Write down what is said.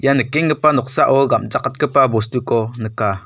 ia nikenggipa noksao gam·chakatgipa bostuko nika.